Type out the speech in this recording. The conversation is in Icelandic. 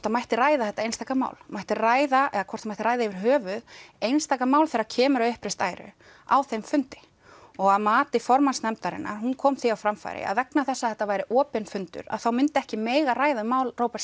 það mætti ræða þetta einstaka mál mætti ræða eða hvort það mætti ræða yfir höfuð einstaka mál þegar kemur að uppreist æru á þeim fundi og að mati formanns nefndarinnar hún kom því á framfæri að vegna þess að þetta væri opinn fundur þá myndi ekki mega ræða mál Róberts